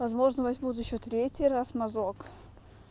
возможно возьмут ещё третий раз мазок